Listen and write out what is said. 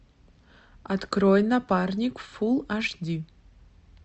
открой напарник фулл аш ди